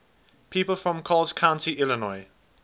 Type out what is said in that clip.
people from coles county illinois